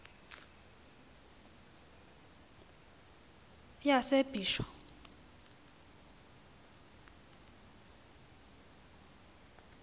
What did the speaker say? yasebisho